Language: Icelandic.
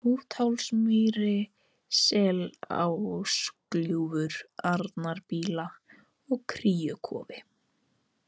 Hrúthálsamýri, Selásgljúfur, Arnarbýla, Kríukofi